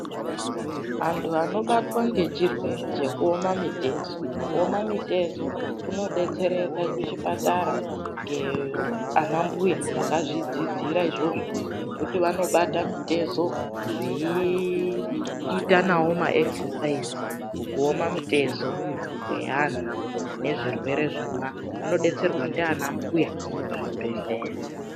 Vanthu vanobatwe ngechirwe rekuome mitezo, uoma mutezo vanodetsereka kuchipatara. Nge anambuya vakazvidzidzira izvizvo zveekuti vanobata mutezo vachiita ma esesaize mukuoma mutezo kwevantu nezvirwere zvona vanodetserwa nana mbuya kuzvibhelera.